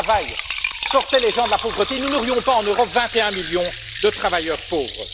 Si le travail sortait les gens de la pauvreté, nous n'aurions pas en Europe 21 millions de travailleurs pauvres.